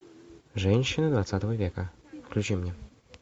женщины двадцатого века включи мне